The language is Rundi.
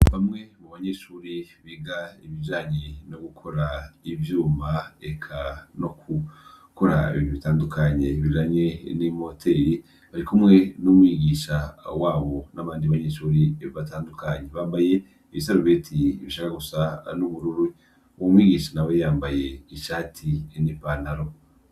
Bamwe mubanyeshuri biga ibijanye no gukora ivyuma eka no kuraba ibintu bitandukanye bijanye n'imoteri bari kumwe n'umwigisha wabo n'abandi banyeshuri batandukanye. Bambaye ibisarubeti bishaka gusa n'ubururu, umwigisha nawe yambaye ishati n'ipantaro.